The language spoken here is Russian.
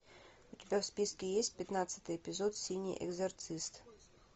у тебя в списке есть пятнадцатый эпизод синий экзорцист